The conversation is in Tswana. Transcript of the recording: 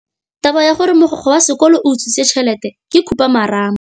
Taba ya gore mogokgo wa sekolo o utswitse tšhelete ke khupamarama.